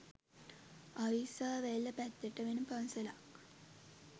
අවිස්සාවේල්ල පැත්තට වෙන පන්සලක්